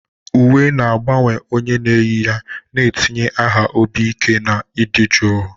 Uwe na-agbanwe onye na-eyi ya, na-etinye ha obi ike na ịdị jụụ.